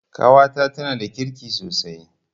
Ƙawata tanada kirki sosai